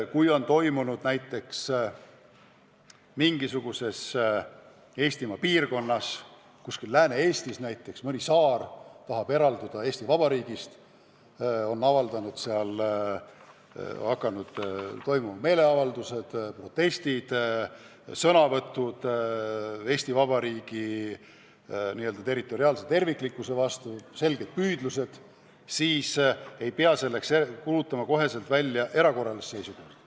Kui mingisuguses Eestimaa piirkonnas, kuskil Lääne-Eestis näiteks mõni saar tahab eralduda Eesti Vabariigist ja seal on puhkenud meeleavaldused, protestid, sõnavõtud Eesti Vabariigi territoriaalse terviklikkuse vastu, siis ei pea kohe välja kuulutama erakorralist seisukorda.